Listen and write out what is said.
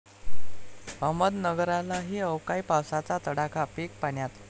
अहमदनगरलाही अवकाळी पावसाचा तडाखा, पिकं पाण्यात!